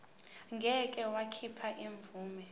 ngeke wakhipha imvume